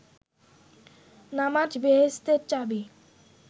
নামাজ বেহেস্তের চাবি